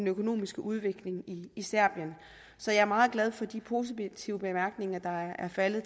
økonomiske udvikling i serbien så jeg er meget glad for de positive bemærkninger der er faldet